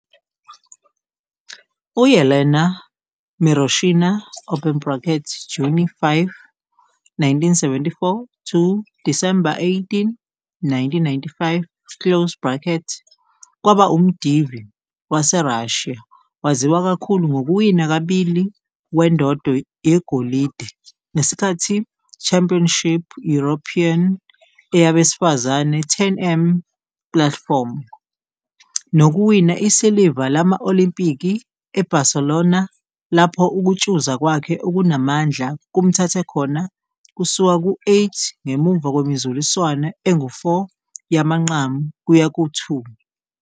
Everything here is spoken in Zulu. U-Yelena Miroshina, Juni 5, 1974 - Disemba 18, 1995, kwaba umdivi wase Russia waziwa kakhulu ngokuwina kabili wendondo yegolide ngesikhathi Championships European e yabesifazane 10 m platform. nokuwina isiliva lama-Olimpiki e-Barcelona lapho ukutshuza kwakhe okunamandla kumthathe khona kusuka ku-8 ngemuva kwemizuliswano engu-4 yamanqamu kuya ku-2.